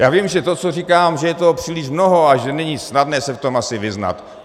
Já vím, že to co, říkám, že je toho příliš mnoho a že není snadné se v tom asi vyznat.